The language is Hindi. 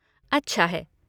अच्छा है।